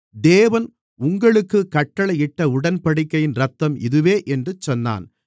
தேவன் உங்களுக்குக் கட்டளையிட்ட உடன்படிக்கையின் இரத்தம் இதுவே என்று சொன்னான்